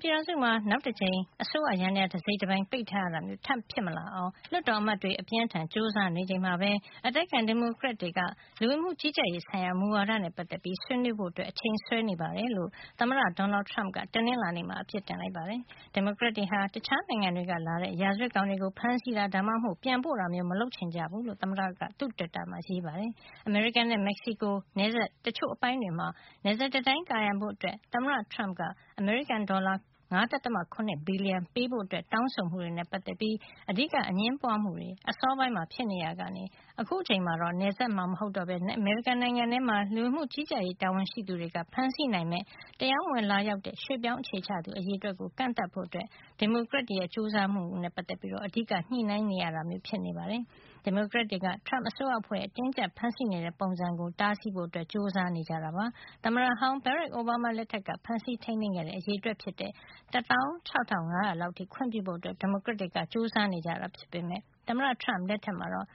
ပြည်ထောင်စုမှာ နောက်ထပ်တကြိမ် အစိုးရယန္တရား တစိတ်တပိုင်းပိတ်ထားရတာမျိုး ဖြစ်မလာအောင် လွှတ်တော်အမတ်တွေ အပြင်းအထန် ကြိုးစားနေချိန်မှာပဲ အတိုက်အခံ ဒီမိုကရက်တွေက လူဝင်မှု ကြီးကြပ်ရေးဆိုင်ရာ မူဝါဒနဲ့ ပတ်သက်ပြီး ဆွေးနွေးဖို့ အချိန်ဆွဲနေတယ်လို့ သမ္မတ Donald Trump က တနင်္လာနေ့မှာ အပြစ်တင်လိုက်ပါတယ်။ ဒီမိုကရက်တွေဟာ တခြားနိုင်ငံတွေကလာတဲ့ ရာဇဝတ်ကောင်တွေကို ဖမ်းဆီးတာ ဒါမှမဟုတ် ပြန်ပို့တာမျိုး မလုပ်ချင်ကြဘူးလို့ သမ္မတက သူ့တွစ်တာမှာ ရေးပါတယ်။ အမေရိကန်နဲ့ မက်ဆီကို နယ်စပ်တချို့အပိုင်းတွေမှာ နယ်စပ်တံတိုင်း ကာရံဖို့ သမ္မတ Trump က အမေရိကန် ဒေါ်လာ ၅.၇ ဘီလျံ ပေးဖို့ တောင်းဆိုမှုတွေနဲ့ ပတ်သက်ပြီး အဓိက အငြင်းပွါးမှုတွေ အစောပိုင်းမှာ ဖြစ်ခဲ့ရာကနေ အခုတော့ နယ်စပ်မှာ မဟုတ်ပဲ အမေရိကန်နိုင်ငံထဲမှာ လူဝင်မှုကြီးကြပ်ရေးတာဝန်ရှိသူတွေက ဖမ်းဆီးနိုင်မယ့် တရားမဝင်လာရောက်တဲ့ ရွှေ့ပြောင်းအခြေချသူ အရေအတွက်ကို ကန့်သတ်ဖို့ ဒီမိုကရက်တွေရဲ့ ကြိုးစားမှုအတွက် အဓိက ညှိနှိုင်းနေရတာမျိုး ဖြစ်နေတာပါ။ ဒီမိုကရက်တွေက Trump အစိုးရအဖွဲ့ရဲ့ အတင်းအကြပ် ဖမ်းဆီးနေတဲ့ နည်းတွေကို တားဆီးဖို့ ကြိုးစားနေကြတာ ဖြစ်ပါတယ်။ သမ္မတဟောင်း Barack Obama လက်ထက်က ဖမ်းဆီးထိန်းသိမ်းခဲ့တဲ့ အရေအတွက် ဖြစ်တဲ့ ၁၆ ၅၀၀ လောက်အထိ အများဆုံး ခွင့်ပြုဖို့ ဒီမိုကရက်တွေက လိုလားနေတာဖြစ် သမ္မတ Trump လက်ထက်မှာတော့